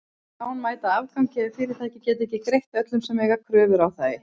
Víkjandi lán mæta afgangi ef fyrirtæki geta ekki greitt öllum sem eiga kröfu á þau.